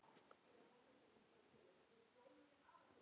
Hvað á barnið að heita?